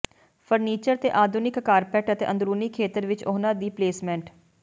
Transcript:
furniture ਤੇ ਆਧੁਨਿਕ carpet ਅਤੇ ਅੰਦਰੂਨੀ ਖੇਤਰ ਵਿੱਚ ਉਹਨਾਂ ਦੀ ਪਲੇਸਮੈਂਟ